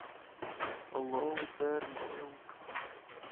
лоудермилк